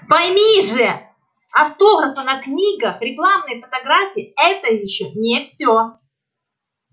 пойми же автографы на книгах рекламные фотографии это ещё не всё